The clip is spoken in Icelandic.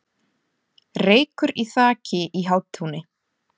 Reykur í þaki í Hátúni